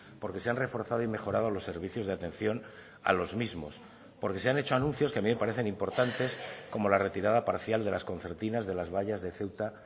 porque se han reforzado y mejorado los servicios de atención a los mismos porque se han hecho anuncios que a mí me parecen importantes como la retirada parcial de las concertinas de las vallas de ceuta